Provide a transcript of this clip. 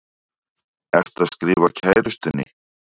Ertu að skrifa kærustunni?